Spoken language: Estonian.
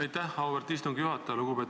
Aitäh, auväärt istungi juhataja!